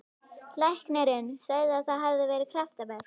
Læknirinn sagði að það hefði verið kraftaverk.